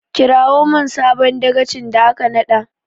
Kirawo min sabon dagacin da aka naɗa!